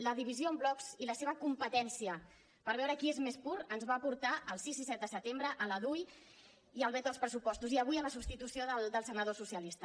la divisió en blocs i la seva competència per veure qui és més pur ens va portar al sis i set de setembre a la dui i al veto al pressupostos i avui a la substitució del senador socialista